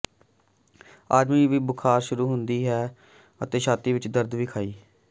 ਆਦਮੀ ਵੀ ਬੁਖ਼ਾਰ ਸ਼ੁਰੂ ਹੁੰਦੀ ਹੈ ਅਤੇ ਛਾਤੀ ਵਿੱਚ ਦਰਦ ਵਿਖਾਈ